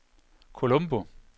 Colombo